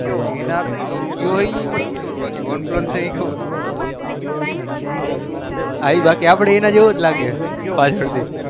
એનાર નઈ કેયોહ એન પહ one plus ઈ ખબર મન એની પચે એના જેવો જ લગ